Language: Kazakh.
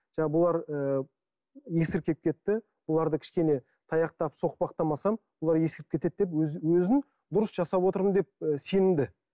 жаңағы бұлар ы есіркеп кетті бұларды кішкене таяқтап соқпақтамасам олар есіріп кетеді деп өзін дұрыс жасап отырмын деп сенімді